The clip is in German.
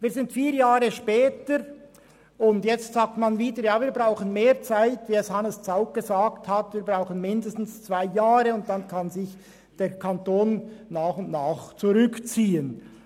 Inzwischen sind vier Jahre vergangen, und wie Hannes Zaugg gesagt hat, heisst es, man brauche mindestens zwei Jahre, dann könne sich der Kanton nach und nach zurückziehen.